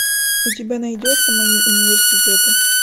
у тебя найдется мои университеты